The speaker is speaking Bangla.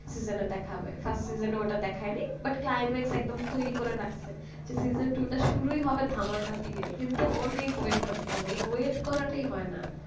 season দেখাবে season ওটা দেখা but হয়নি climax একদম তৈরি করে রাখছে য season two টা শুরুই হবে ধামাকা দিয়ে কিন্তু অনেক wait করতে হবে। এই wait করাটাই হয় না